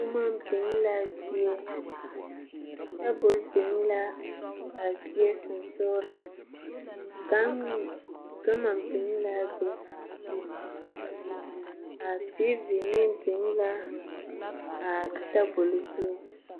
Buma bing la zeɛ tabol bing la a zeɛ sunsuuring gama bin laa be a tv meng bin la a tabol zu.